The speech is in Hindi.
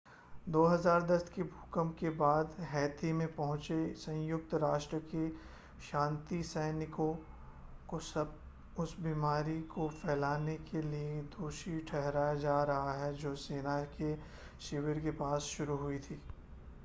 2010 के भूकंप के बाद हैती में पहुंचे संयुक्त राष्ट्र के शांति सैनिकों को उस बीमारी को फैलाने के लिए दोषी ठहराया जा रहा है जो सेना के शिविर के पास शुरू हुई थी